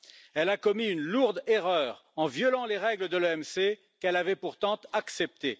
Elle a commis une lourde erreur en violant les règles de l'OMC, qu'elle avait pourtant acceptées.